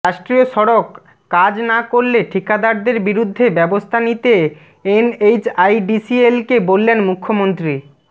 রাষ্ট্ৰীয় সড়কঃ কাজ না করলে ঠিকাদারদের বিরুদ্ধে ব্যবস্থা নিতে এনএইচআইডিসিএলকে বললেন মুখ্যমন্ত্ৰী